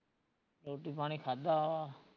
ਰੋਟੀ ਪਾਣੀ ਖਾਧਾ ਵਾ